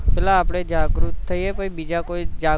પેહલા આપડે જાગુત થઈ એ પછી બીજા કોઈ ને જાગૃત